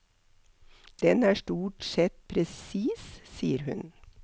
Den er stort sett presis, sier hun.